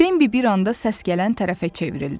Bembi bir anda səs gələn tərəfə çevrildi.